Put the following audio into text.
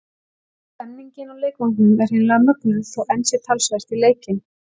Stemningin á leikvangnum er hreinlega mögnuð þó enn sé talsvert í leikinn.